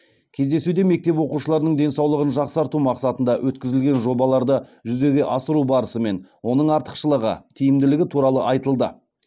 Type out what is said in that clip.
кездесуде мектеп оқушыларының денсаулығын жақсарту мақсатында өткізілген жобаларды жүзеге асыру барысы мен оның артықшылығы тиімділігі туралы айтылды